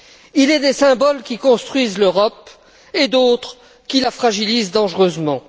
Il est des symboles qui construisent l'Europe et d'autres qui la fragilisent dangereusement.